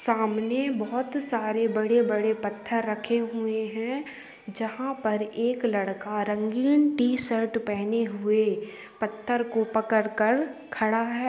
सामने बहोत सारे बड़े-बड़े पत्थर रखे हुए हैं जहाँ पर एक लड़का रंगीन टी-शर्ट पहने हुए पत्थर को पकड़ कर खड़ा है।